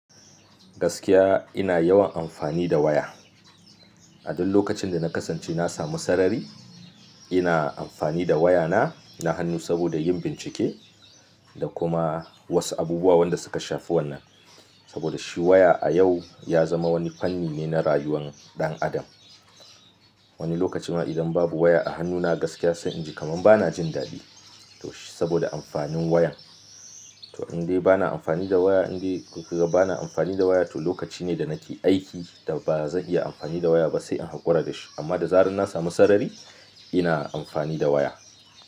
Gaskiya ina yawan amfani da waya. A duk lokacin da na kasance na samu sarari, ina amfani da wayana na hannu saboda yin bincike da kuma wasu abubuwa wanda suka shafi wannan. Saboda shi waya a yau ya zama wani fanni ne na rayuwar ɗan adam. Wani lokacin ma idan babu waya a hannuna gaskiya sai inji kaman bana jin daɗi. To shi saboda amfanin wayan. To in dai bana amfani da waya, in dai gaba bana amfani da waya to lokaci ne da nake aiki da ba zan iya amfani da waya ba sai in haƙura da shi. Amma da zarar na samu sarari ina amfani da waya.